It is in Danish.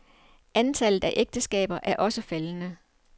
Antallet af ægteskaber er også faldende.